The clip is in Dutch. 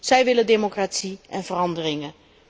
Zij willen democratie en veranderingen.